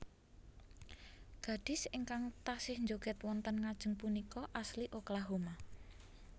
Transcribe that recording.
Gadis ingkang tasih njoged wonten ngajeng punika asli Oklahoma